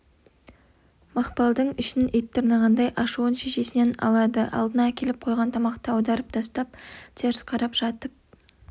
мақпалдың ішін ит тырнағандай ашуын шешесінен алады алдына әкеліп қойған тамақты аударып тастап теріс қарап жатып